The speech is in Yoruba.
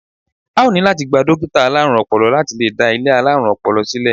A ó ní láti gba dókítà alárùn ọpọlọ láti lè dá ilé alárùn ọpọlọ sílẹ̀.